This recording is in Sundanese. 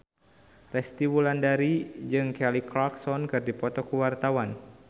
Resty Wulandari jeung Kelly Clarkson keur dipoto ku wartawan